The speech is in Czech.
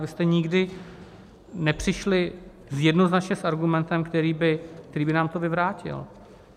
Vy jste nikdy nepřišli jednoznačně s argumentem, který by nám to vyvrátil.